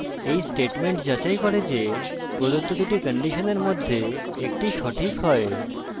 এই statement যাচাই করে যে প্রদত্ত দুটি কন্ডিশনের মধ্যে একটি সঠিক হয়